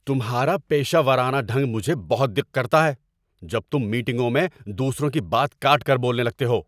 تمہارا پیشہ ورانہ ڈھنگ مجھے بہت دق کرتا ہے جب تم میٹنگوں میں دوسروں کی بات کاٹ کر بولنے لگتے ہو۔